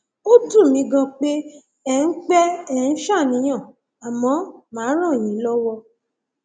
ó dùn mí ganan pé ẹ ń pé ẹ ń ṣàníyàn àmọ màá ràn yín lọwọ